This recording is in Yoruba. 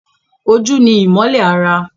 Ojú ni ìmọ́lẹ̀ ara